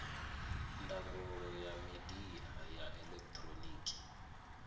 ndangulo ya midia ya elekihironiki